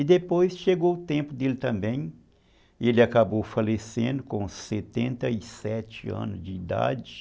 E depois chegou o tempo dele também, ele acabou falecendo com setenta e sete anos de idade.